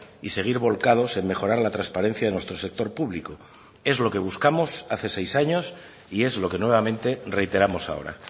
y seguir volcados en mejorar la transparencia de nuestro sector público es lo que buscamos hace seis años y es lo que nuevamente reiteramos ahora